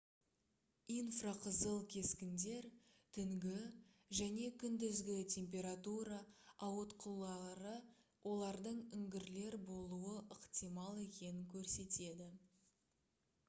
инфрақызыл кескіндер түнгі және күндізгі температура ауытқулары олардың үңгірлер болуы ықтимал екенін көрсетеді